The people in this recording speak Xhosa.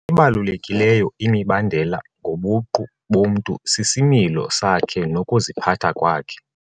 Ebalulekileyo imibandela ngobuqu bomntu sisimilo sakhe nokuziphatha kwakhe.